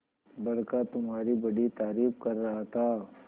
बड़का तुम्हारी बड़ी तारीफ कर रहा था